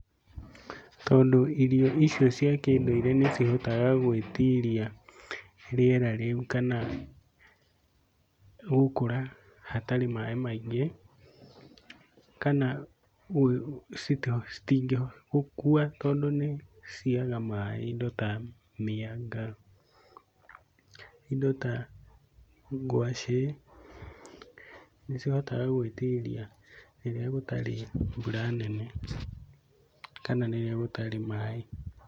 Tondũ irio icio cia kĩndũire nĩcihotaga gũĩtiria rĩera rĩu kana gũkũra hatarĩ maĩ maingĩ, kana citingĩkua tondũ nĩciaga maĩ. Indo ta mianga, indo ta ngwacĩ, nĩcihotaga gwĩtiria rĩrĩa gũtarĩ mbura nene kana rĩrĩa gũtarĩ maĩ.